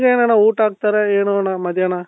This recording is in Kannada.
ಏನಾನ ಊಟ ಹಾಕ್ತಾರ ಏನಣ್ಣ ಮಧ್ಯಾಹ್ನ?